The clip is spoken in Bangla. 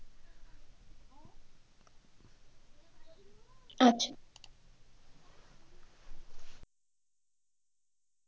আচ্ছা